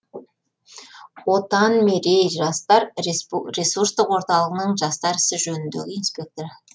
отан мерей жастар ресурстық орталығының жастар ісі жөніндегі инспекторы